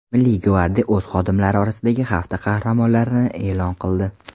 Milliy gvardiya o‘z xodimlari orasidagi hafta qahramonlarini e’lon qildi .